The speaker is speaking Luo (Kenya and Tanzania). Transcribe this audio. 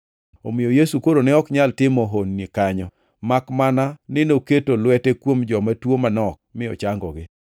Omiyo Yesu koro ne ok nyal timo honni kanyo, makmana ni noketo lwete kuom joma tuo manok mi ochangogi.